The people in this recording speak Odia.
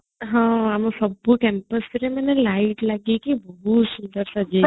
ହଁ ଆମର ସବୁ campusରେ ମାନେ light ଲାଗିକି ବହୁତ ସୁନ୍ଦର ସଜିଆହେଇଥିଲା